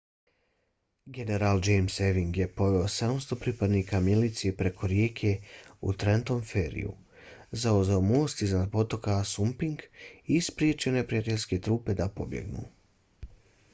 general james ewing je poveo 700 pripadnika milicije preko rijeke u trentom ferryju zauzeo most iznad potoka assunpink i spriječio neprijateljske trupe da pobjegnu